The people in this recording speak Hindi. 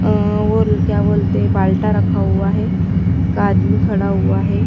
अ वोल क्या बोलते हैं बालटा रखा हुआ है एक आदमी खड़ा हुआ है।